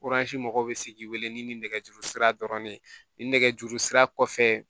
mɔgɔw bɛ se k'i wele ni nɛgɛjuru sira dɔrɔn de ye ni nɛgɛjuru sira kɔfɛ